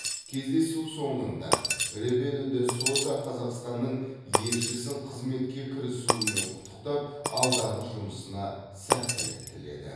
кездесу соңында ребелу де соза қазақстанның елшісін қызметке кірісуімен құттықтап алдағы жұмысына сәттілік тіледі